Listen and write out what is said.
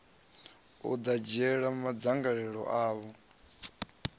u ḓo dzhiela madzangalelo avho